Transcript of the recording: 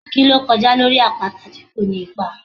Ki lo kojá lorí apata ti ko ní ipá?